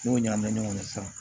N'o ɲagamina ɲɔgɔn na sisan